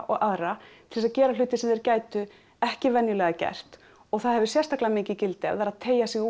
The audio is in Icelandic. og aðra til að gera hluti sem þeir gætu ekki venjulega gert og það hefur sérstaklega mikið gildi að vera að teygja sig